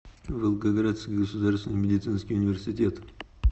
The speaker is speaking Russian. волгоградский государственный медицинский университет